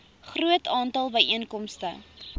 groot aantal byeenkomste